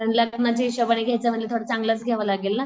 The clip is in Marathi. लग्नाच्या हिशोबाने घ्यायचा म्हणजे थोडा चांगलाच घ्यावा लागेल ना.